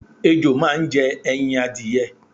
Ejò máa ń je̩ e̩yin adìye̩.